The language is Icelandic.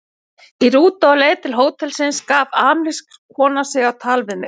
Í rútu á leið til hótelsins gaf amerísk kona sig á tal við mig.